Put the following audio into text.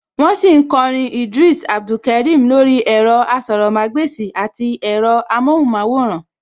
Wọ́n sì ń kọ orin Idris Abdulkarim lórí ẹ̀rọ-asọ̀rọ̀mágbèsì àti ẹ̀rọ-amọ́hùnmáwòrán